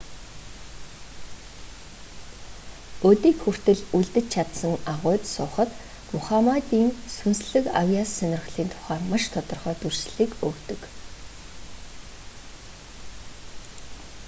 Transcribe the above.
өдийг хүртэл үлдэж чадсан агуйд суухад мухаммадын сүнслэг авьяас сонирхлын тухай маш тодорхой дүрслэлийг өгдөг